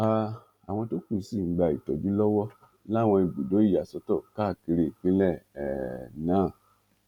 um àwọn tó kù sì ń gba ìtọjú lọwọ láwọn ibùdó ìyàsọtọ káàkiri ìpínlẹ um náà